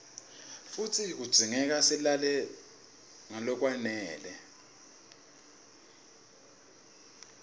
futsi kudzingeka silale ngalokwanele